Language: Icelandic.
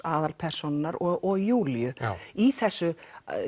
aðalpersónunnar og Júlíu í þessu